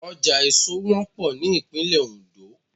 Ọjà èso wọ́pọ̀ ní ìpínlẹ̀ Oǹdó